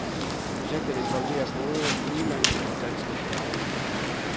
Projektet involverer både udenlandske og danske eksperter.